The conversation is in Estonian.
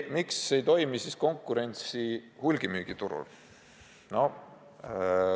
Miks ei toimu siis konkurentsi hulgimüügiturul?